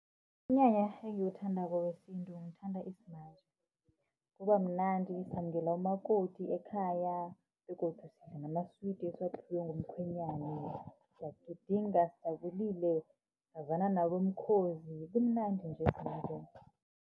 Umnyanya engiwuthandako wesintu ngithanda isimanje. Kuba mnandi samukela umakoti ekhaya begodu sidla namaswidi esiphiwa ngumkhwenyana. Siyagidinga sijabulile sazana nabomkhozi kumnandi nje simanje.